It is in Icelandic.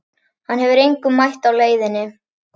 Hann hefur engum mætt á leiðinni.